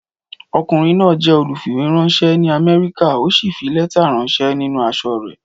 Ọkùnrin náà jẹ́ olùfìwéránṣẹ́ ní Amẹ́ríkà ó sì fi lẹ́tà ránṣẹ́ nínú aṣọ rẹ̀.